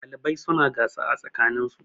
ɗalibai suna gasa a tsakaninsu